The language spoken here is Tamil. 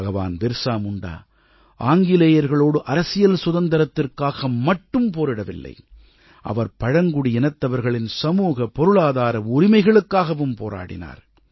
பகவான் பிர்ஸா முண்டா ஆங்கிலேயர்களோடு அரசியல் சுதந்திரத்திற்காக மட்டும் போரிடவில்லை அவர் பழங்குடியினத்தவர்களின் சமூக பொருளாதார உரிமைகளுக்காகவும் போராடினார்